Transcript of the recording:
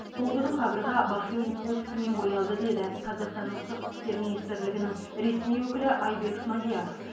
сол күні қабырға бахрейн туы түсімен боялды деді қазақстанның сыртқы істер министрлігінің ресми өкілі айбек смадияров